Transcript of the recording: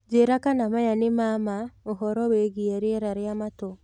njĩĩra kana maya nĩ ma maa ũhoro wĩĩgĩe rĩera rĩa matũ